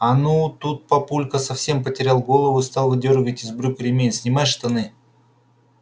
а ну тут папулька совсем потерял голову стал выдёргивать из брюк ремень снимай штаны